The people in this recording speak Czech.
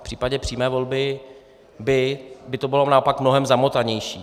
V případě přímé volby by to bylo naopak mnohem zamotanější.